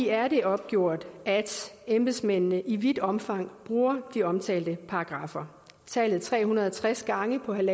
er det opgjort at embedsmændene i vidt omfang bruger de omtalte paragraffer tallet tre hundrede og tres gange på en en